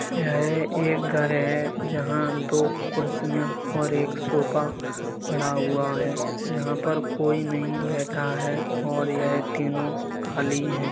यह एक घर है। जहाॅं दो कुर्सियां और एक सोफा पड़ा हुआ हैं। यहाँ पर कोई नही बैठा है और यह तीनो खाली हैं।